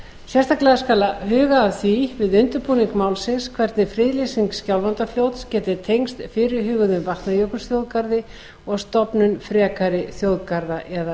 sérstaklega skal huga að því við undirbúning málsins hvernig friðlýsing skjálfandafljóts geti tengst fyrirhuguðum vatnajökulsþjóðgarði og stofnun frekari þjóðgarða eða